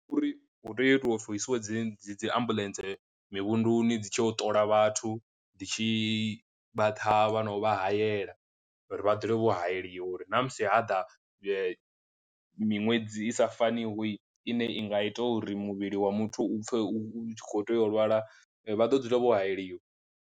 Uri hu tea itiwa upfhi hu isiwe dzi dzi dzi ambuḽentse mivhunduni dzi tshi o ṱola vhathu dzi tshi vha thavha na u vha hayela, uri vha dzule vho hayeliwe uri ṋamusi hada miṅwedzi i sa fanihoi ine i nga ita uri muvhili wa muthu u pfhe u khou tea u lwala vha ḓo dzula vho hayeliwa.